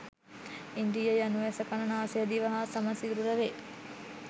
ඉන්ද්‍රිය යනු ඇස කන නාසය දිව හා සම සිරුර වේ